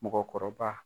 Mɔgɔkɔrɔba